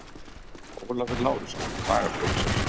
Ólafur Lárusson, lagaprófessor.